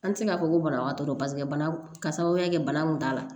An tɛ se k'a fɔ ko banabagatɔ paseke bana ka sababuya kɛ bana kun t'a la